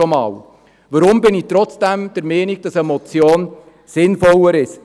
Weshalb bin ich trotzdem der Meinung, eine Motion sei sinnvoller?